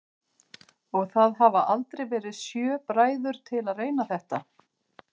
Og það hafa aldrei verið sjö bræður til að reyna þetta?